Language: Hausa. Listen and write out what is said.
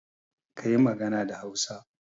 Kayi magana da Hausa.